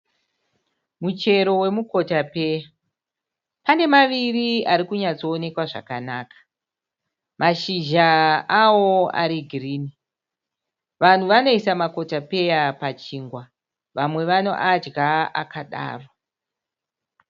Muchero wemukotapeya. Pane maviri ari kunyatsoonekwa zvakanaka. Mashizha awo ari girini. Vanhu vanoisa makotapeya pachingwa vamwe vanoadya akadaro.